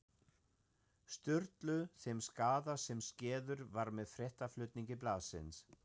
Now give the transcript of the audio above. Sturlu þeim skaða sem skeður var með fréttaflutningi blaðsins.